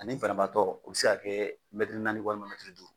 Ani fanabaatɔ u bɛ se'a kɛ naani walima duuru.